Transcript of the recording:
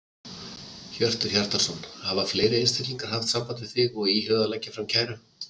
Hjörtur Hjartarson: Hafa fleiri einstaklingar haft samband við þig og íhugað að leggja fram kæru?